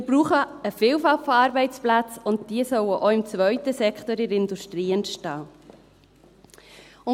Wir brauchen eine Vielfalt von Arbeitsplätzen, und diese sollen auch im zweiten Sektor entstehen, in der Industrie.